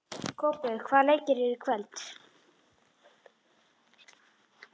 Kópur, hvaða leikir eru í kvöld?